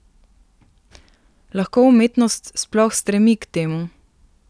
Lahko umetnost sploh stremi k temu?